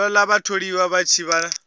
ṱoḓa vhatholiwa vha tshi vha